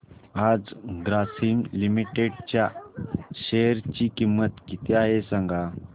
आज ग्रासीम लिमिटेड च्या शेअर ची किंमत किती आहे सांगा